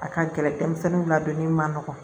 A ka gɛlɛn denmisɛnninw ladonni man nɔgɔn